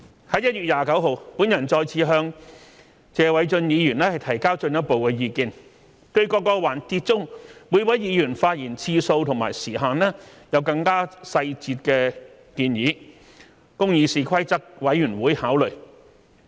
在1月29日，我再次向謝偉俊議員提交進一步的意見，對各環節中每位議員發言次數及時限有更細節的建議，供議事規則委員會考慮。